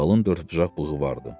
Qalın dördbucaq bığı vardı.